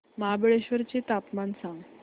महाबळेश्वर चं तापमान सांग